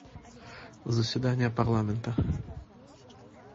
заседание парламента